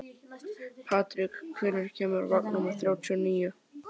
Patrik, hvenær kemur vagn númer þrjátíu og níu?